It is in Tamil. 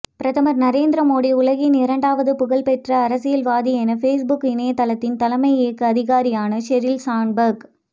பிரதமர் நரேந்திர மோடி உலகின் இரண்டாவது புகழ்பெற்ற அரசியல்வாதி என பேஸ்புக் இணையதளத்தின் தலைமை இயக்க அதிகாரியான ஷெரில் சாண்ட்பர்க்